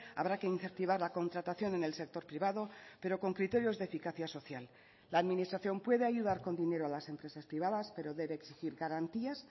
habrá que incentivar la contratación en el sector privado pero con criterios de eficacia social la administración puede ayudar con dinero a las empresas privadas pero debe exigir garantías